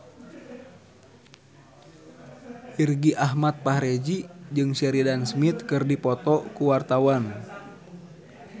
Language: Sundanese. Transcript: Irgi Ahmad Fahrezi jeung Sheridan Smith keur dipoto ku wartawan